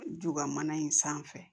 Ntoba mana in sanfɛ